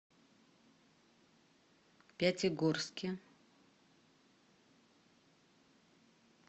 пятигорске